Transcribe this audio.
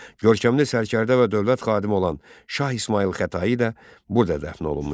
Görkəmli sərkərdə və dövlət xadimi olan Şah İsmayıl Xətai də burada dəfn olunmuşdu.